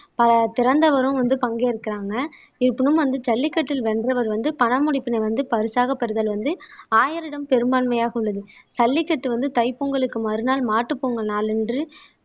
திறந்தவரும் வந்து பங்கேற்கிறாங்க இருப்பினும் வந்து ஜல்லிக்கட்டில் வென்றவர் வந்து பணமுடிப்பினை வந்து பரிசாக பெறுதல் வந்து ஆயரிடம் பெரும்பான்மையாக உள்ளது ஜல்லிக்கட்டு வந்து தைப்பொங்கலுக்கு மறுநாள் மாட்டுப்பொங்கல் நாளன்று